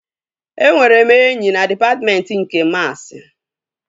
Enwere m enyi na dịpatmentị nke maasi